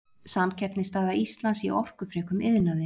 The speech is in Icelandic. samkeppnisstaða íslands í orkufrekum iðnaði